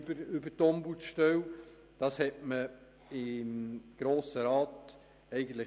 Der Grosse Rat hat sich bisher dagegen ausgesprochen.